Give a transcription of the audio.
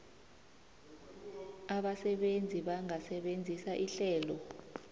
abasebenzi bangasebenzisa ihlelo